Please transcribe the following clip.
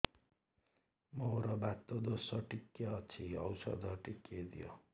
ମୋର୍ ବାତ ଦୋଷ ଟିକେ ଅଛି ଔଷଧ ଟିକେ ଦିଅ